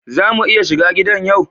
Za mu iya shiga gidan yau?